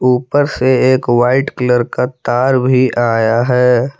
ऊपर से एक वाइट कलर का तार भी आया है।